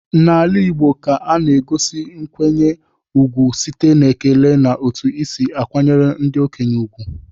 N'ala igbo ka a na-egosi nkwanye ugwu site n'ekele na otu i si akwanyere ndị okenye ugwu.